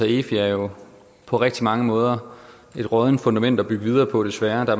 efi er jo på rigtig mange måder et råddent fundament at bygge videre på desværre der